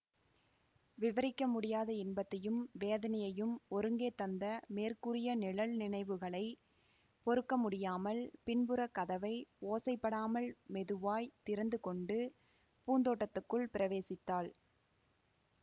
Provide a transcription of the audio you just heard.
விவரிக்க முடியாத இன்பத்தையும் வேதனையையும் ஒருங்கே தந்த மேற்கூறிய நிழல் நினைவுகளைப் பொறுக்க முடியாமல் பின்புறக் கதவை ஓசைப்படாமல் மெதுவாய்த் திறந்து கொண்டு பூந்தோட்டத்துக்குள் பிரவேசித்தாள்